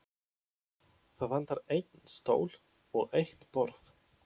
Það vantar einn stól og eitt borð.